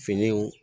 Finiw